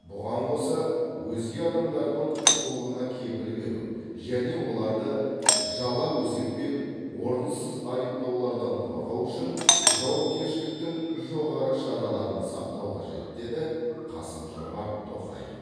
бұған қоса өзге адамдардың құқығына кепіл беру және оларды жала өсек пен орынсыз айыптаулардан қорғау үшін жауапкершіліктің жоғары шараларын сақтау қажет деді қасым жомарт тоқаев